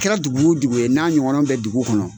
kɛra dugu wo dugu ye n'a ɲɔgɔnna bɛ dugu kɔnɔ.